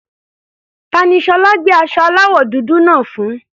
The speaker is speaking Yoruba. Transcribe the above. Ta ni Ṣọlá gbé aṣọ aláwọ̀ dúdú náà fún?